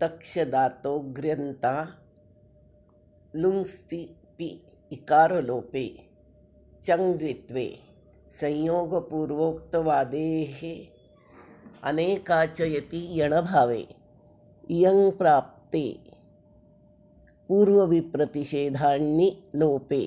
तक्षदातोण्र्यन्ताल्लुङस्तिपि इकारलोपे चङि द्वित्वे संयोगपूर्वक्तवादेरनेकाच इति यणभावे इयङि प्राप्ते पूर्वविप्रतिषेधाण्णिलोपे